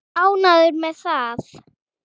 Ánægður með það?